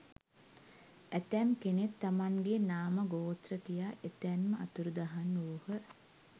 ඇතැම් කෙනෙක් තමන්ගේ නාම ගෝත්‍ර කියා එතැන්ම අතුරුදහන් වූහ.